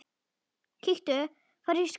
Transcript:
Þannig er nú lífið.